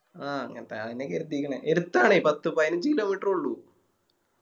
ആ അങ്ങനത്തെ ആന്നെയാ കെര്തിക്കണേ എടുത്താണെ പത്ത് പയിനഞ്ച് Kilometer എ ഉള്ളു